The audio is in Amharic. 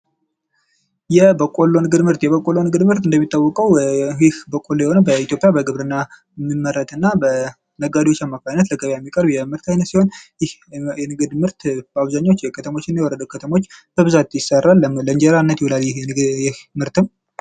የበቆሎ ንግድ ምርት፦ የበቆሎ ንግድ ምርት እንደሚታወቀው ይህ በቆሎ የሆነው በኢትዮጵያ በግብርና የሚመረትና፥ በነጋዴዎች አማካኝነት ለገበያ የሚቀርብ የምርት አይነት ሲሆን ይህ ምርት በአብዘሃኛው በከተሞችና በወረዳ ከተሞች በአብዛኛው ይሠራል ፤ ለእንጀራነት ይውላል ይህ ምርትም።